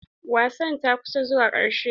Wasan ta ƙusan zuwa karshe.